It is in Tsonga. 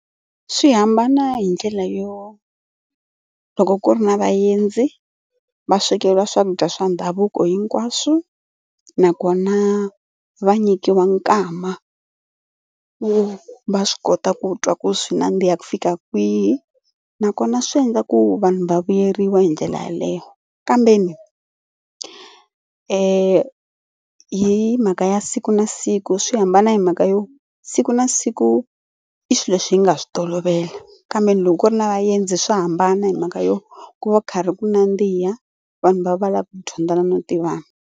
Swi hambana hi ndlela yo loko ku ri na vaendzi va swekeriwa swakudya swa ndhavuko hinkwaswo nakona va nyikiwa nkama wo va swi kota ku twa ku swi nandziha ku fika kwihi nakona swi endla ku vanhu va vuyeriwa hi ndlela yaleyo kambeni hi mhaka ya siku na siku swi hambana hi mhaka yo siku na siku i swilo leswi hi nga swi tolovela kambe loko ku ri na vaendzi swa hambana hi mhaka yo ku va ku karhi ku nandziha vanhu va va va lava ku dyondzana no tivana.